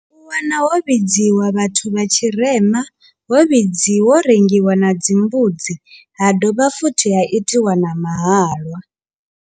U wana ho vhidziwa vhathu vha tshirema ho vhidziwa rengiwa na dzimbudzi ha dovha futhi ha itiwa na mahalwa.